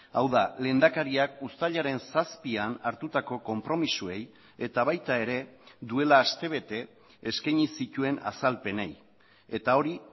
hau da lehendakariak uztailaren zazpian hartutako konpromisoei eta baita ere duela aste bete eskaini zituen azalpenei eta hori